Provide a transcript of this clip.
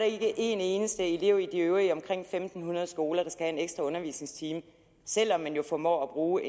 ikke en eneste elev i de øvrige omkring en tusind fem hundrede skoler der skal have en ekstra undervisningstime selv om man jo formår at bruge